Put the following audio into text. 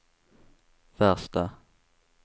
värsta